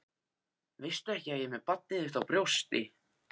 Veistu ekki að ég er með barnið þitt á brjósti?